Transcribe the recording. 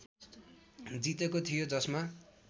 जितेको थियो जसमा